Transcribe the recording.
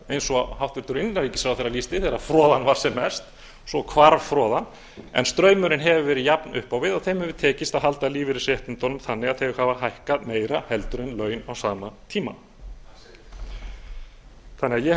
eins og hæstvirtur innanríkisráðherra lýsti þegar froðan var sem mest svo hvarf froðan en straumurinn hefur verið jafn upp á við og þeim hefur tekist að halda lífeyrisréttindunum þannig að þau hafa hækkað meira heldur en laun á sama tíma ég held